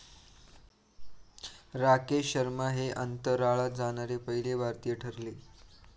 राकेश शर्मा हे अंतराळात जाणारे पहिले भारतीय ठरले.